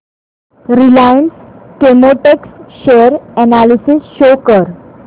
Reliance Chemotex share analysis show कर